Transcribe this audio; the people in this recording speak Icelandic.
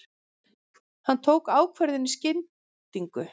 Hann tók ákvörðun í skyndingu.